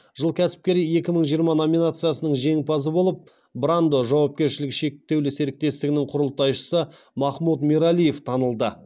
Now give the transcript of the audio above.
жыл кәсіпкері екі мың жиырма номинациясының жеңімпазы болып брандо жауапкершілігі шектеулі серіктестігінің құрылтайшысы махмут мералиев танылды